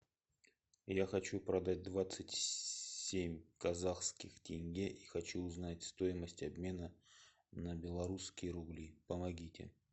я хочу продать двадцать семь казахских тенге и хочу узнать стоимость обмена на белорусские рубли помогите